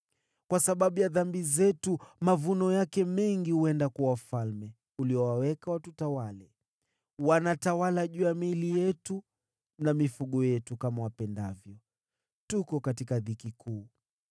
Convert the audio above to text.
Kwa sababu ya dhambi zetu, mavuno yake mengi huenda kwa wafalme uliowaweka watutawale. Wanatawala juu ya miili yetu na mifugo yetu kama wapendavyo. Tuko katika dhiki kuu.